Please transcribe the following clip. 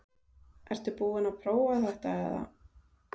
Ertu búin að prófa þetta eða?